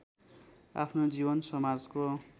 आफ्नो जीवन समाजको